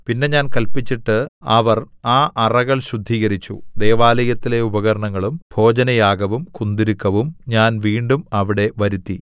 പിന്നെ ഞാൻ കല്പിച്ചിട്ട് അവർ ആ അറകൾ ശുദ്ധീകരിച്ചു ദൈവാലയത്തിലെ ഉപകരണങ്ങളും ഭോജനയാഗവും കുന്തുരുക്കവും ഞാൻ വീണ്ടും അവിടെ വരുത്തി